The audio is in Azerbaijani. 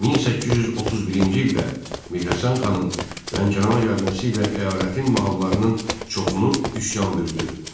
1831-ci ildə Mirhəsən xanın Lənkərana gəlməsi ilə əyalətin mahallarınn çoxunu üsyan bürüdü.